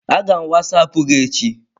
Aga m wasapụ gi echi.